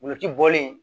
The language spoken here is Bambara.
Wulu ti bɔlen